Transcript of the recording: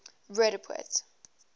roodepoort